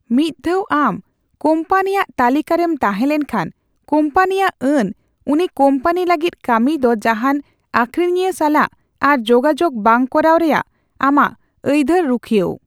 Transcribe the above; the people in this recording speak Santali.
ᱢᱤᱫ ᱫᱷᱟᱣ ᱟᱢ ᱠᱳᱢᱯᱟᱱᱤᱭᱟᱜ ᱛᱟᱹᱞᱤᱠᱟᱨᱮᱢ ᱛᱟᱦᱮᱸ ᱞᱮᱱᱠᱷᱟᱱ, ᱠᱚᱢᱯᱟᱱᱤᱭᱟᱜ ᱟᱹᱱ ᱩᱱᱤ ᱠᱳᱢᱯᱟᱱᱤ ᱞᱟᱹᱜᱤᱫ ᱠᱟᱹᱢᱤᱭ ᱫᱚ ᱡᱟᱦᱟᱱ ᱟᱹᱠᱷᱨᱤᱧᱤᱭᱟᱹ ᱥᱟᱞᱟᱜ ᱟᱨ ᱡᱚᱜᱟᱡᱳᱜ ᱵᱟᱝ ᱠᱚᱨᱟᱣ ᱨᱮᱭᱟᱜ ᱟᱢᱟᱜ ᱟᱹᱭᱫᱷᱟᱹᱨ ᱨᱩᱠᱷᱤᱭᱟᱹᱣ ᱾